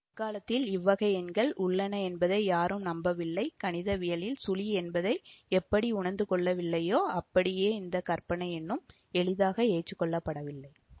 அக்காலத்தில் இவ்வகை எண்கள் உள்ளன என்பதை யாரும் நம்பவில்லை கணிதவியலில் சுழி என்பதை எப்படி உணர்ந்து கொள்ளவில்லையோ அப்படியே இந்த கற்பனை எண்ணும் எளிதாக எற்றுக்கொள்ளப்படவில்லை